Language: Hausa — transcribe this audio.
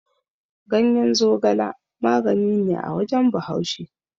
Ganyen zogala magani ne a wajen Bahaushe.